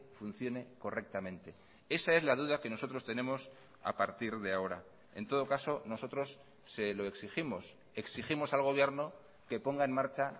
funcione correctamente esa es la duda que nosotros tenemos a partir de ahora en todo caso nosotros se lo exigimos exigimos al gobierno que ponga en marcha